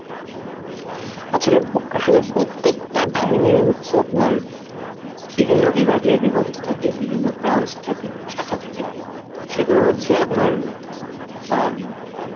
আছলে~ আসলে প্রত্যেকটা বাহিনীই হচ্ছে আপনার বিভিন্ন বিভাগে বিভক্ত থাকে, বিভিন্ন branch থাকে, শাখা থাকে, সেগুলো হচ্ছে আপনার অ্যাঁ